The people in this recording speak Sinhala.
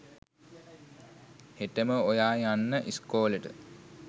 හෙටම ඔයා යන්න ඉස්කෝලෙට.